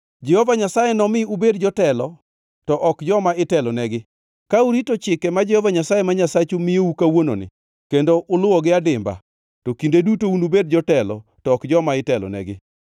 Jehova Nyasaye nomi ubed jotelo to ok joma itelonegi. Ka urito chike ma Jehova Nyasaye ma Nyasachu miyou kawuononi kendo uluwogi adimba, to kinde duto unubed jotelo to ok joma itelonegi.